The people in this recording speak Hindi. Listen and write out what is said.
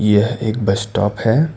यह एक बस स्टॉप है।